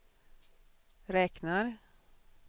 räknar